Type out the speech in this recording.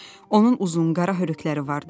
Onun uzun qara hörükələri vardı.